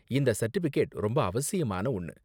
இந்த சர்டிபிகேட் ரொம்ப அவசியமான ஒன்னு.